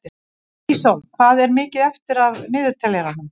Ísól, hvað er mikið eftir af niðurteljaranum?